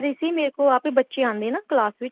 ਸੀ ਮੇਰੇ ਕੋਲ ਬੱਚੇ ਆਂਦੇ ਏ ਨਾ class ਵਿੱਚ